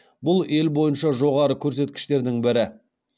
бұл ел бойынша жоғары көрсеткіштердің бірі